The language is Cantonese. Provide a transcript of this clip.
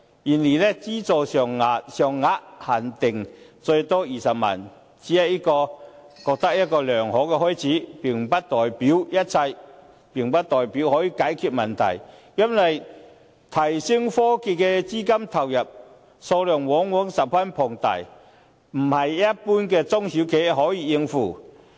然而，資助金額限定最多20萬元，我認為這只是良好的開始，並不代表一切，並不代表可以解決問題；因為用作提升科技的資金投入，數量往往十分龐大，不是一般的中小企可以應付。